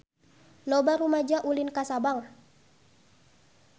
Loba rumaja ulin ka Sabang